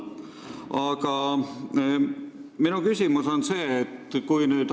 Aga minu küsimus on selline.